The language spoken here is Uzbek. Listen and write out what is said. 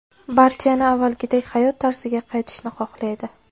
Barcha yana avvalgidek hayot tarziga qaytishni xohlaydi.